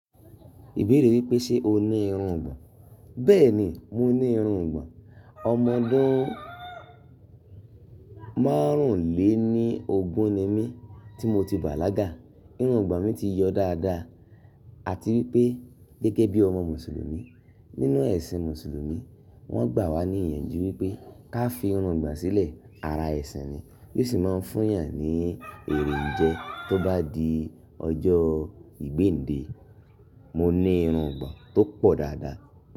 Ìbéèrè wípé ṣe o ní irun ìgbọ̀n? Bẹ́ẹ̀ni, mo ní irun ìgbọ̀n. Ọmọ ọdún márùn-ún lé ní ogún ni mí tí mo ti bàlágà. Irun ìgbọ̀n mi ti yọ dáadáa àti wípé gẹ́gẹ́ bí ọmọ Mùsùlùmí. Nínú ẹ̀sìn Mùsùlùmí, wọ́n gbà wá ní ìyànjú wípé ká fi irun ìgbọ̀n sílẹ̀. Ara ẹ̀sìn ni, yóò sì máa ń fún eyàn ní èrèǹjẹ tó bá di ọjọ́ ìgbéńdé. Mo ní irun ìgbọ̀n tó pọ̀ dáadáa.